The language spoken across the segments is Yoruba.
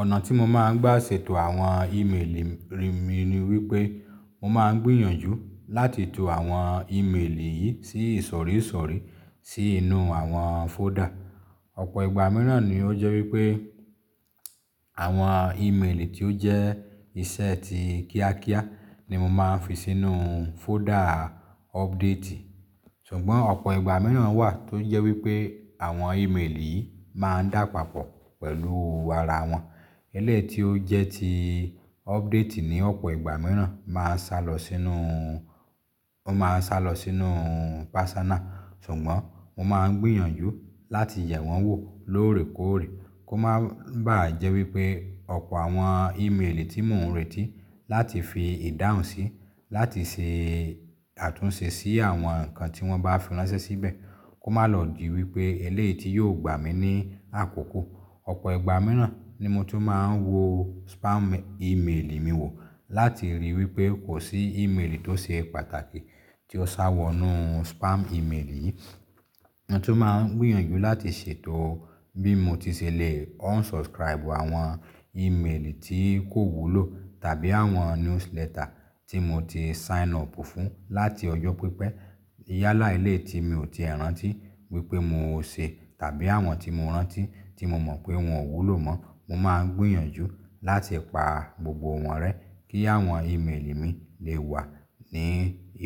Ọ̀nà tí mo máa ń gbà ṣètò àwọn ímeèlì rí mi ni wípé mo máa ń gbìyànjú láti to àwọn ímeèlì yìí sí ìsọ̀ríṣọ̀rí sí inú àwọn fọ́dà. Ọ̀pọ̀ ìgbà mìíràn ni ó jẹ́ wípé àwọn ímeèlì tí ó jẹ́ iṣẹ́ ti kíákíá ni mo máa ń fi sínú fọ́dà ọupdate ti. Ṣùgbọ́n ọ̀pọ̀ ìgbà míràn wà tó jẹ́ wípé àwọn ímeèlì máa ń dàpapọ̀ pẹ̀lú ara wọn. Elé ti ó jẹ́ ti ọ́pútì ní ọ̀pọ̀ ìgbà míràn máa ń sálọ sínú, ó máa ń sálọ sínú personal. Ṣùgbọ́n mo máa ń gbìyànjú láti yẹ̀ wọ́n wò lóòrèkóòrè kó máa ń bà á jẹ́ wípé ọ̀pọ̀ àwọn ímeèlì tí mò ń retí láti fi ìdáhùn sí láti se àtúnṣe sí àwọn nǹkan tí wọ́n bá fi ránṣẹ́ síbẹ̀ kó má lọ di wípé eléyii ti yóò gbà mí ní àkókò. Ọ̀pọ̀ ìgbà míràn ni mo tun máa ń wo spam ímeèlì mi wò láti ríi wípé kò sí ímeèlì tó ṣe pàtàkì tí ó sá wọ inú spam ímeèlì yìí. Mo tún máa ń gbìyànjú láti ṣètò bí mo ti ṣẹlẹ̀ unsubscribe àwọn ímeèlì tí kò wúlò tàbí àwọn newsletter tí mo ti sign up fún láti ọjọ́ pípẹ́. Iyálà elé ti mi ò ti rántí wípé mo ò ṣe tàbí àwọn tí mo rántí tí mo mọ̀ pé wọn ò wúlò mọ́. Mo máa ń gbìyànjú láti pa gbogbo wọ́n rẹ́ kí àwọn ímeèlì mi lè wà ní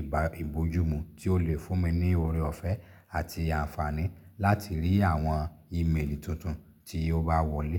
ìbá ìbójúmu tí ó lè fún mi ní oore ọ̀fẹ́ àti àǹfààní láti rí àwọn ímeèlì tuntun tí ó bá wọlé.